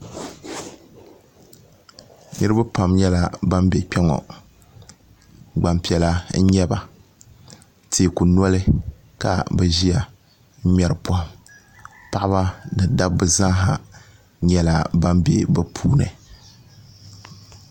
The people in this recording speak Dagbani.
Niriba pam nyɛla ban bɛ kpe ŋɔ gbanpiɛla n nyaba teeku noli ka bi ʒiya n ŋmeri pɔhim paɣaba ni dabba zaa ha nyɛla ban bɛ bi puuni.